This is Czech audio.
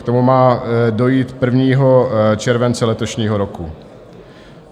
K tomu má dojít 1. července letošního roku.